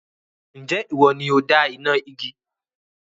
Ǹjẹ́ ìwọ ni ó dá iná igi?